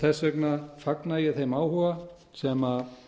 þess vegna fagna ég þeim áhuga sem